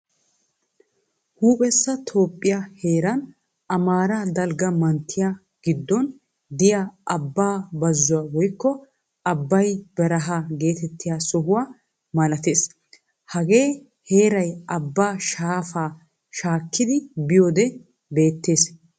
Huuphphessa Toophphiyaa heeraan Amaara dalgga manttiyaan giddon deiya Aba bazzuwa woykko "Abay bereha" geetettiya sohuwaa malaatees. Hagee heeraay abaa shaafa shaakkidi biyode beetees.